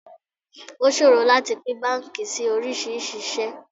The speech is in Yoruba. O ṣòro láti pín báńkì sí oríṣiríṣi ìṣe.